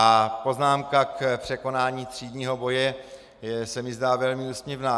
A poznámka k překonání třídního boje se mi zdá velmi úsměvná.